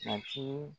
Matigi